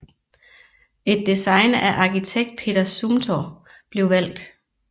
Et design af arkitekt Peter Zumthor blev valgt